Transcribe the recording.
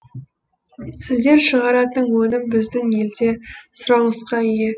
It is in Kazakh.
сіздер шығаратын өнім біздің елде сұранысқа ие